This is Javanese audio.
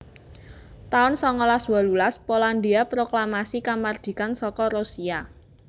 taun songolas wolulas Polandhia proklamasi kamardikan saka Rusia